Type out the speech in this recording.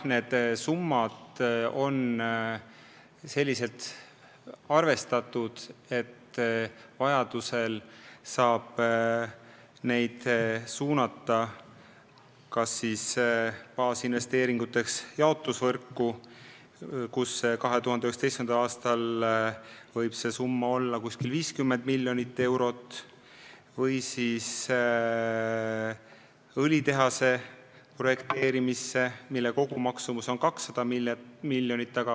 Need summad on arvestatud nii, et vajadusel saab neid suunata kas baasinvesteeringuteks jaotusvõrku, kus 2019. aastal võib vaja minna umbes 50 miljonit eurot, või siis õlitehase projekteerimisse, mille kogumaksumus on 200 miljonit.